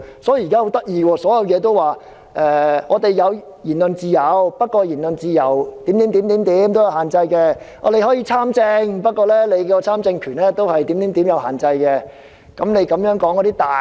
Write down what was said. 所以，現時情況相當有趣，雖然說我們有言論自由，但言論自由是有限制的；我們可以參政，但參政權也是有限制的。